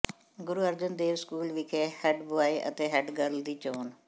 ਗੁਰੂ Arjan Dev school ਵਿਖੇ head boy ਅਤੇ head girl ਦੀ ਚੋਣ